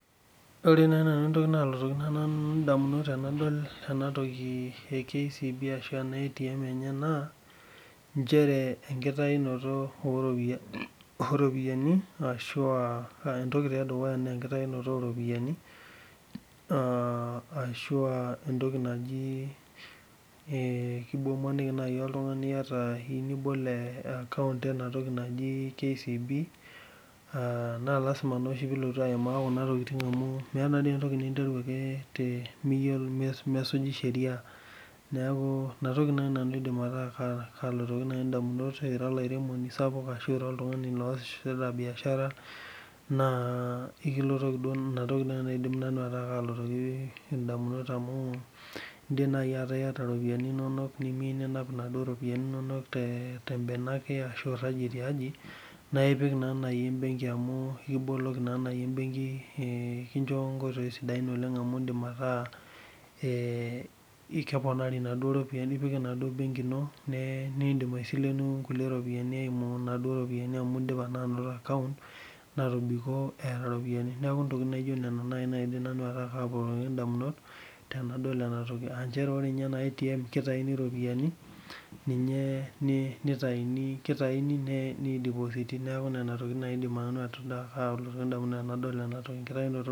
Ore Nai entoki nalotu ndamunot tanadol ena enadol enatoki e atim na nchere pinoto oropiyiani na enkitaunoto oropiyiani na entoki imaniki mai oltungani aa iyieu nibol enatoki naji kcb aa na lasima pilotu aimaa kuna tokitin na mesuji sheria naaku inatoki nai nataa kalotoki ndamunot tenira oltungani oasita biashara na ekilotoki nai einatoki nai nalotoki ndamunot amu indim niata ropiyani inonok nimiyieu ninap ropiyani tembene ake ashubiragie tiaje na ekiboloki na embenki amu ekincho nkoitoi sidai metaa indim ataa keponari naduo ropiyiani nindim aisilemu ropiyani amu indipa ainoto ropiyani neaku inatoki nalotu ndamunot tanadol enatoki aa nchere ore ena atm kitauni ropiyani ni depositi neaku ina nai nanu nelotu ndamunot tanadol ena toki enkitauoto